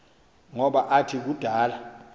ngoba athi kudala